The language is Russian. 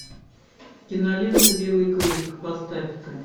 кинолента белый клык поставь ка